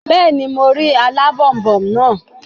Bẹ́ẹ̀ni, mo rí alábònboǹ naa